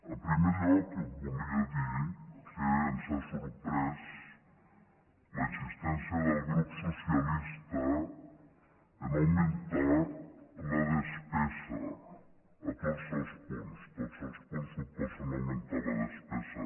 en primer lloc volia dir que ens ha sorprès la insistència del grup socialista a augmentar la despesa a tots els punts tots els punts suposen augmentar la despesa